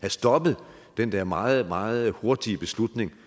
have stoppet den der meget meget hurtige beslutning